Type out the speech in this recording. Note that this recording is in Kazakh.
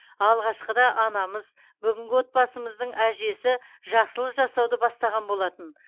алғашқы да анамыз бүгінгі отбасымыздың әжесі жақсылық жасауды бастаған болатын